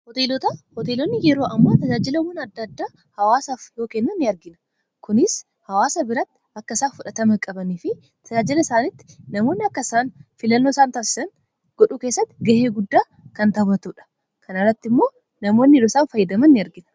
Hoteelota. hoteelonni yeroo ammaa tajaajilawwan adda addaa hawaasaaf yoo kennan ni argina. Kunis hawaasa biratti akka isaan fudhatama qabanii fi tajaajila isaanitti namoonni akkasaan filannoo isaan taasisan godhuu keessatti gahee guddaa kan taphatudha. Kanarratti immoo namoonni yeroo isaan fayyadaman ni argina